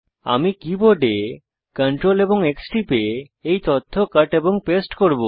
আমি কীবোর্ডে Ctrl X টিপে এই তথ্য কট এবং পেস্ট করব